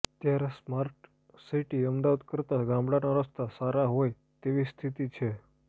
ત્યારે smart city Ahmedabad કરતા ગામડાના રસ્તા સારા હોય તેવી સ્થિતી છે